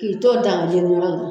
K'i to daga jeni yɔrɔ la.